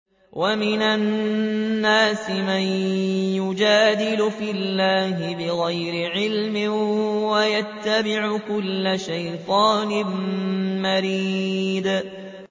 وَمِنَ النَّاسِ مَن يُجَادِلُ فِي اللَّهِ بِغَيْرِ عِلْمٍ وَيَتَّبِعُ كُلَّ شَيْطَانٍ مَّرِيدٍ